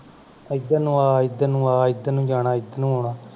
ਇਧਰ ਨੂੰ ਆ ਇਧਰ ਨੂੰ ਆ ਇਧਰ ਨੂੰ ਜਾਣਾ ਇਧਰ ਨੂੰ ਆਉਣਾ